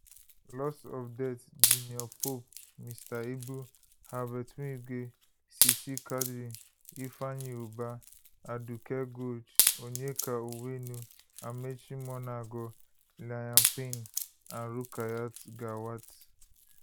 loss death junior pope mr ibu herbert wigwe sisi quadri ifeanyi ubah aduke gold onyeka onwenu amaechi muonagor liam payne and rukayat gawat